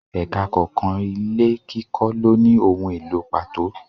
Ẹka kọ̀ọ̀kan ilé kíkọ lóni ohun èlò pàtó.